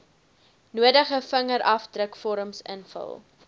nodige vingerafdrukvorms invul